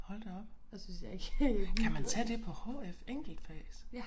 Hold da op kan man tage det på HF enkeltfags